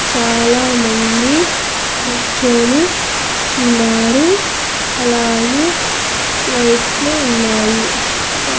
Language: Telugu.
చాలామంది కూర్చొని ఉన్నారు అలాగే లైట్లు ఉన్నాయి.